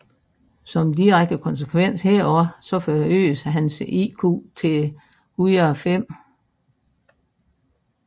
Som direkte konsekvens heraf forøges hans IQ til 105